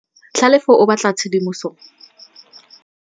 Tlhalefô o batla tshedimosetsô e e tlhalosang ka botlalô.